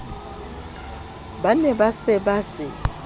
ne ba se ba se